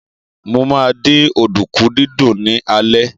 Mo ma dín ọ̀dùnkún dídún ní alẹ́